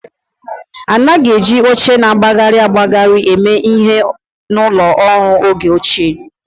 A naghị eji oche na-agbagharị agbagharị eme ihe na ụlọ ọrụ n'oge ochie